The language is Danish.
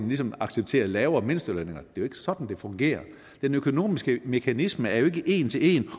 ligesom acceptere lavere mindstelønninger det er jo ikke sådan det fungerer den økonomiske mekanisme er jo ikke en til en